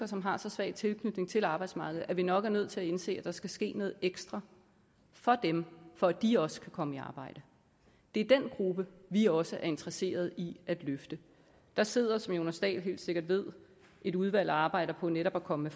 som har så svag tilknytning til arbejdsmarkedet at vi nok er nødt til at indse at der skal ske noget ekstra for dem for at de også kan komme i arbejde det er den gruppe vi også er interesseret i at løfte der sidder som herre jonas dahl helt sikkert ved et udvalg og arbejder på netop at komme